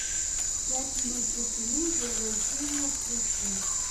пять минут тишины возвращение включи